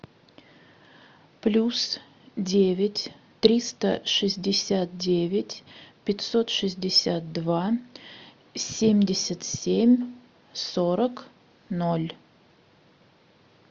плюс девять триста шестьдесят девять пятьсот шестьдесят два семьдесят семь сорок ноль